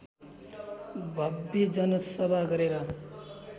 भव्य जनसभा गरेर